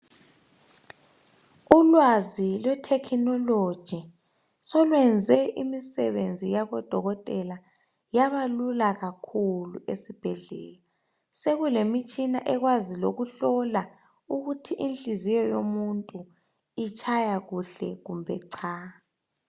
Ulwazi lwe technology solwenze imisebenzi yabodokotela yaba lula kakhulu esibhedlela sekulemitshina ekwaziyo ukuhlola ukuthi inhliziyo yomuntu itshaya kuhle kumbe cha.